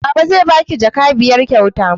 Baba zai ba ki jaka biyar kyauta